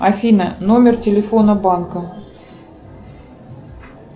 афина номер телефона банка